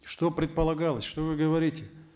что предполагалось что вы говорите